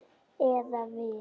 Eða við.